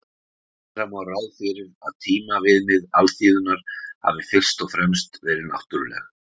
gera má ráð fyrir að tímaviðmið alþýðunnar hafi fyrst og fremst verið náttúruleg